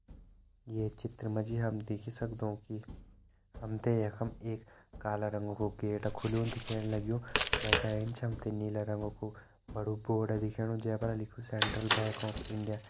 ये चित्र मा जी हम देख ही सक्दों कि हम ते यखम एक काला रंग कु गेट खुलयूं दिखेण लग्युं वै का एंच हम ते नीला रंग कु बड़ु बोर्ड दिखेणु जै पर लिख्युं सेंट्रल बैंक ऑफ इंडिया ।